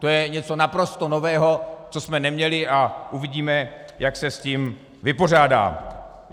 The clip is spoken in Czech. To je něco naprosto nového, co jsme neměli, a uvidíme, jak se s tím vypořádá.